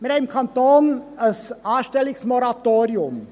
– Wir haben im Kanton ein Anstellungsmoratorium.